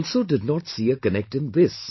I also did not see a connect is in this